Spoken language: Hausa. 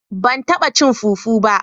Ban taba cin " fufu" ba